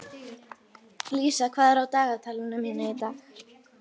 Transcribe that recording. Lísa, hvað er á dagatalinu mínu í dag?